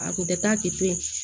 A kun tɛ taa kɛ ten